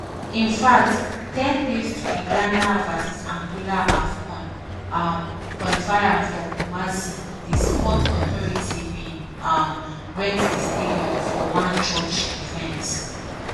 in fact ten days to di ghana v angola afcon um qualifier for kumasi di sports authority bin um rent di stadium for one church event.